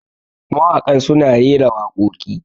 mawakan suna rera wakoki